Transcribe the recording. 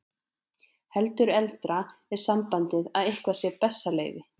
Heldur eldra er sambandið að eitthvað sé bessaleyfi.